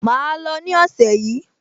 Màá lò ó ní ọ̀sẹ̀ yìí